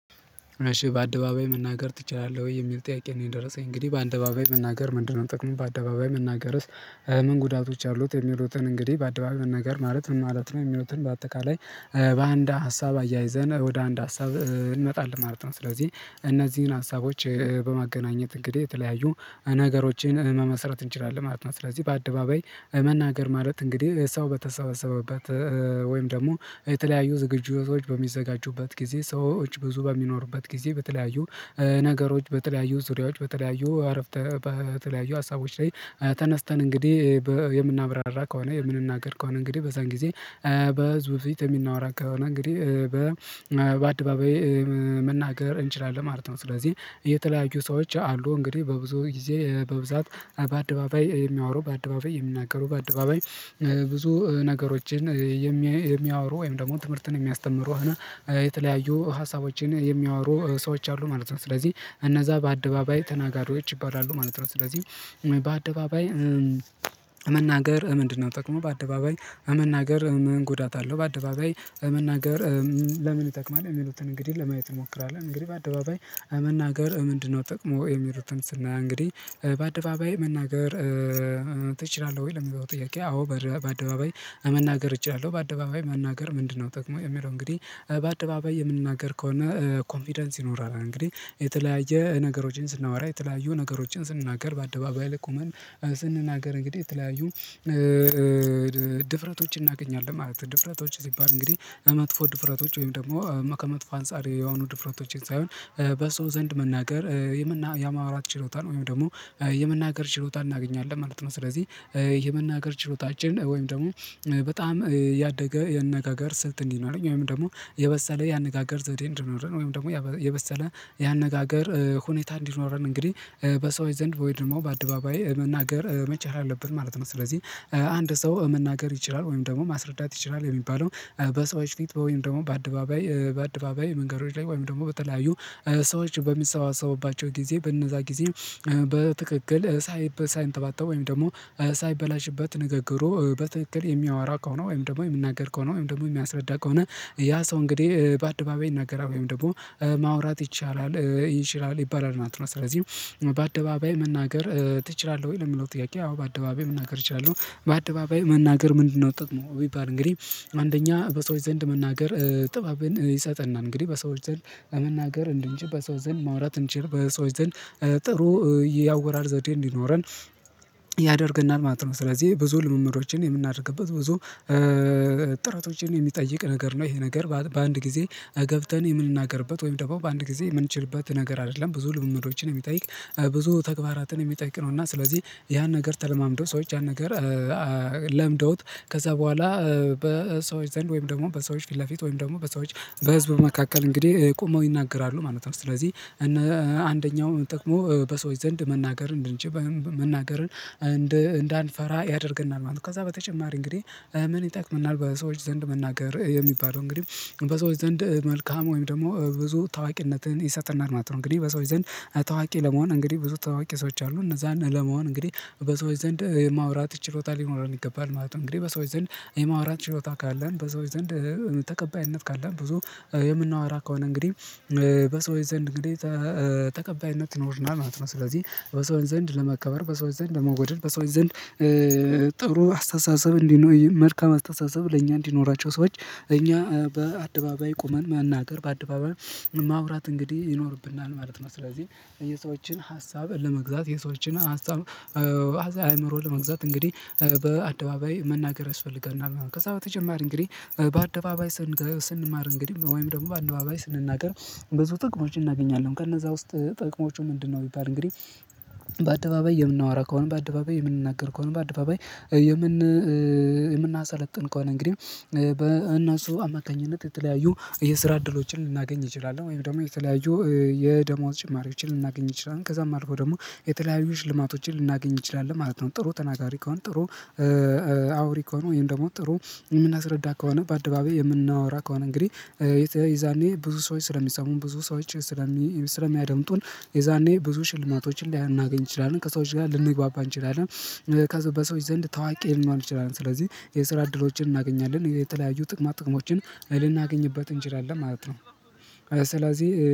እሺ በአደባባይ መናገር ትችላለህ ወይ የሚል ጥያቄ ነው የደረሰኝ እንግዲህ በአደባባይ መናገር ምንድነው ጥቅሙ በአደባባይ መናገርስ? ምን ጉዳቶች አሉት የሚሉትን እንግዲህ በአደባባይ መናገር ማለት ምን ማለት ነው የሚሉትን በአጠቃላይ። በአንድ ሀሳብ አያይዘን ወደ አንድ ሀሳብ እንመጣለን ማለት ነው። ስለዚህ እነዚህን ሀሳቦች በማገናኘት እንግዲህ የተለያዩ ነገሮችን መመስረት እንችላለን ማለት ነው። ስለዚህ በአደባባይ መናገር ማለት እንግዲህ ሰው በተሰበሰበበት ወይም ደግሞ የተለያዩ ዝግጅቶች በሚዘጋጁበት ጊዜ ሰዎች ብዙ በሚኖሩበት ጊዜ በተለያዩ ነገሮች በተለያዩ ዙሪያዎች በተለያዩ አረፍተ በተለያዩ ሀሳቦች ላይ ተነስተን እንግዲህ በ የምናብራራ ከሆነ የምንናገር ከሆነ እንግዲህ በዛን ጊዜ በህዝብ ፊት የምናወራ ከሆነ እንግዲህ በ በአደባባይ መናገር እንችላለን ማለት ነው። ስለዚህ የተለያዩ ሰዎች አሉ እንግዲህ በብዙ ጊዜ በብዛት በአደባባይ የሚያወሩ በአደባባይ የሚናገሩ በአደባባይ ብዙ ነገሮችን የሚያ የሚያወሩ ወይም ደግሞ ትምህርትን የሚያስተምሩ ሆነ የተለያዩ ሀሳቦችን የሚያወሩ ሰዎች አሉ ማለት ነው። ስለዚህ እነዛ በአደባባይ ተናጋሪዎች ይባላሉ ማለት ነው። ስለዚህ በአደባባይ መናገር ምንድነው? ጥቅሙ በአደባባይ መናገር ምን ጉዳት አለው? በአደባባይ መናገር ለምን ይጠቅማል? የሚሉትን እንግዲህ ለማየት እንሞክራለን። እንግዲህ በአደባባይ መናገር ምንድነው ጥቅሙ የሚሉትን ስናይ እንግዲህ በአደባባይ መናገር? እችላለሁ ወይ ለሚለው ጥያቄ አዎ በደ በአደባባይ መናገር እችላለሁ። በአደባባይ መናገር ምንድነው ጥቅሙ? የሚለው እንግዲህ በአደባባይ የምንናገር ከሆነ ኮንፊደንስ ይኖረናል። እንግዲህ የተለያየ ነገሮችን ስናወራ የተለያዩ ነገሮችን ስንናገር በአደባባይ ላይ ቆመን ስንናገር እንግዲህ የተለያዩ ድፍረቶች እናገኛለን ማለት ነው። ድፍረቶች ሲባል እንግዲህ መጥፎ ድፍረቶች ወይም ደግሞ መ ከመጥፎ አንፃር የሆኑ ድፍረቶችን ሳይሆን በሰው ዘንድ መናገር የምና የማውራት ችሎታን ወይም ደግሞ የመናገር ችሎታ እናገኛለን ማለት ነው። ስለዚህ የመናገር ችሎታችን ወይም ደግሞ በጣም ያደገ የአነጋገር ስልት እንዲኖረኝ ወይም ደግሞ የበሰለ የአነጋገር ዘዴ እንዲኖረን ወይም ደግሞ ያበ የበሰለ የአነጋገር ሁኔታ እንዲኖረን እንግዲህ በሰዎች ዘንድ ወይ ደግሞ በአደባባይ መናገር መቻል አለብን ማለት ነው። ስለዚህ አንድ ሰው መናገር ይችላል ወይም ደግሞ ማስረዳት ይችላል የሚባለው በሰዎች ፊት ወይም ደግሞ በአደባባይ በአደባባይ መንገዶች ላይ ወይም ደግሞ በተለያዩ ሰዎች በሚሰባሰቡባቸው ጊዜ በእነዛ ጊዜ በትክክል ሳይብ ሳይንተባተብ ወይም ደግሞ ሳይበላሽበት ንግግሩ በትክክል የሚያወራ ከሆነ ወይም ደግሞ የሚናገር ከሆነ ወይም ደግሞ የሚያስረዳ ከሆነ ያ ሰው እንግዲህ በአደባባይ ይናገራል ወይም ደግሞ ማውራት ይቻላል ይችላል ይባላል ማለት ነው። ስለዚህ በአደባባይ መናገር ትችላለህ? ወይ ለሚለው ጥያቄ አዎ በአደባባይ መናገር እችላለሁ። በአደባባይ መናገር ምንድነው ጥቅሙ? ቢባል እንግዲህ አንደኛ በሰዎች ዘንድ መናገር ጥበብን ይሰጠናል። እንግዲህ በሰዎች ዘንድ መናገር እንድንችል በሰው ዘንድ ማውራት እንችል በሰዎች ዘንድ ጥሩ ያወራር ዘዴ እንዲኖረን ያደርገናል ማለት ነው። ስለዚህ ብዙ ልምምዶችን የምናደርግበት ብዙ ጥረቶችን የሚጠይቅ ነገር ነው ይሄ ነገር ማለት ነው። በአንድ ጊዜ ገብተን የምንናገርበት ወይም ደግሞ በአንድ ጊዜ የምንችልበት ነገር አይደለም። ብዙ ልምምዶችን የሚጠይቅ ብዙ ተግባራትን የሚጠይቅ ነው። እና ስለዚህ ያን ነገር ተለማምደው ሰዎች ያን ነገር ለምደውት ከዛ በኋላ በሰዎች ዘንድ ወይም ደግሞ በሰዎች ፊት ለፊት ወይም ደግሞ በሰዎች በህዝብ መካከል እንግዲህ ቁመው ይናገራሉ ማለት ነው። ስለዚህ እነ አንደኛው ጥቅሙ በሰዎች ዘንድ መናገር እንድንች መናገርን እንድ እንዳንፈራ ያደርገናል ማለት ነው። ከዛ በተጨማሪ እንግዲህ ምን ይጠቅመናል? በሰዎች ዘንድ መናገር የሚባለው እንግዲህ በሰዎች ዘንድ መልካም ወይም ደግሞ ብዙ ታዋቂነትን ይሰጠናል ማለት ነው። እንግዲህ በሰዎች ዘንድ ታዋቂ ለመሆን እንግዲህ ብዙ ታዋቂ ሰዎች አሉ እነዛን ለመሆን እንግዲህ በሰዎች ዘንድ ማውራት ችሎታ ሊኖረን ይገባል ማለት ነው። እንግዲህ በሰዎች ዘንድ የማውራት ችሎታ ካለን በሰዎች ዘንድ ተቀባይነት ካለን ብዙ የምናወራ ከሆነ እንግዲህ በሰዎች ዘንድ እንግዲህ ተ ተቀባይነት ይኖረናል ማለት ነው። ስለዚህ በሰዎች ዘንድ ለመከበር በሰዎች ዘንድ ለመወደድ በሰዎች ዘንድ ጥሩ አስተሳሰብ እንዲኖይ መልካም አስተሳሰብ ለእኛ እንዲኖራቸው ሰዎች እኛ በአደባባይ ቁመን መናገር በአደባባይ ማውራት እንግዲህ ይኖርብናል ማለት ነው። ስለዚህ የሰዎችን ሀሳብ ለመግዛት የሰዎችን ሀሳብ ሃሳ አይምሮ ለመግዛት እንግዲህ በአደባባይ መናገር ያስፈልገናል ማለት ነው። ከዛ በተጨማሪ እንግዲህ በአደባባይ ስንገ ስንማር እንግዲህ ወይም ደግሞ በአደባባይ ስንናገር ብዙ ጥቅሞች እናገኛለን ከነዛ ውስጥ ጥቅሞቹ ምንድነው? ቢባል እንግዲህ በአደባባይ የምናወራ ከሆነ በአደባባይ የምንናገር ከሆነ በአደባባይ የምን የምናሰለጥን ከሆነ እንግዲህ በእነሱ አማካኝነት የተለያዩ የስራ እድሎችን ልናገኝ እችላለሁ ወይም ደግሞ የተለያዩ የደሞዝ ጭማሪዎችን ልናገኝ እንችላለን ከዛም አልፎ ደግሞ የተለያዩ ሽልማቶችን ልናገኝ እንችላለን ማለት ነው። ጥሩ ተናጋሪ ከሆን ጥሩ አውሪ ከሆኑ ወይም ደግሞ ጥሩ የምናስረዳ ከሆነ በአደባባይ የምናወራ ከሆነ እንግዲህ የተ የዛኔ ብዙ ሰዎች ስለሚሰሙን ብዙ ሰዎች ስለሚ ስለሚያደምጡን የዛኔ ብዙ ሽልማቶችን ሊያናገኝ እንችላለን ከሰዎች ጋር ልንግባባ እንችላለን። ከዛ በሰዎች ዘንድ ታዋቂ ልንሆን እንችላለን። ስለዚህ የስራ እድሎችን እናገኛለን የተለያዩ ጥቅማ ጥቅሞችን ልናገኝበት እንችላለን ማለት ነው። ስለዚህ